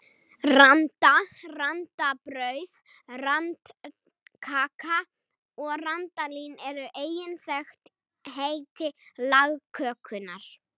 Randa, randabrauð, randakaka og randalín eru einnig þekkt heiti lagkökunnar.